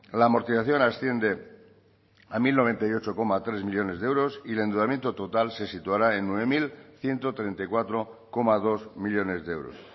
la amortización asciende a mil noventa y ocho coma tres millónes de euros y el endeudamiento total se situará en nueve mil ciento treinta y cuatro coma dos millónes de euros